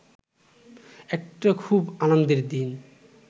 একটা খুব আনন্দের দিন